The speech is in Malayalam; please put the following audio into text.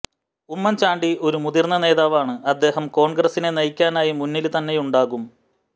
ഉമ്മന്ചാണ്ടി ഒരു മുതിര്ന്ന് നേതാവാണ് അദ്ദേഹം കോണ്ഗ്രസിനെ നയിക്കാനായി മുന്നില് തന്നെയുണ്ടാകും